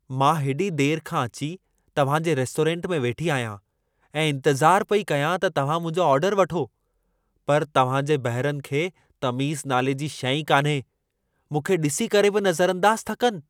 मां हेॾी देर खां अची तव्हां जे रेस्टोरेंट में वेठी आहियां ऐं इंतज़ार पई कयां त तव्हां मुंहिंजो ऑर्डर वठो। पर तव्हां जे बहिरनि खे तमीज़ नाले जी शै ई कान्हे। मूंखे ॾिसी करे बि नज़रअंदाज़ था कनि